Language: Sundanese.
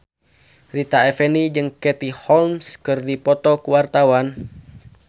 Rita Effendy jeung Katie Holmes keur dipoto ku wartawan